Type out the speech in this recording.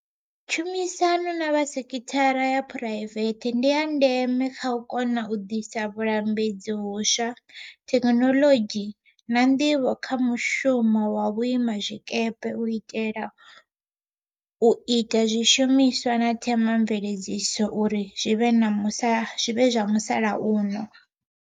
Tshumisano na vha sekhithara ya phuraivethe ndi ya ndeme kha u kona u ḓisa vhulambedzi hu swa, thekhinoḽodzhi, na nḓivho kha mushumo wa vhuima zwikepe u itela u ita zwishumiswa na themamveledziso uri zwi vhe zwa musalauno.